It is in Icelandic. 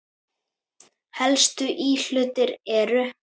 Helstu íhlutir eru